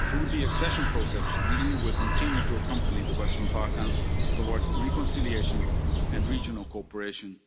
Through the accession process, the EU will continue to accompany the Western Balkans towards reconciliation and regional cooperation